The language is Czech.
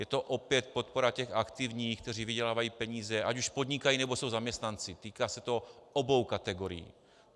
Je to opět podpora těch aktivních, kteří vydělávají peníze, ať už podnikají, nebo jsou zaměstnanci, týká se to obou kategorií.